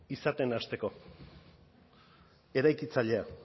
izaten hasteko eraikitzailea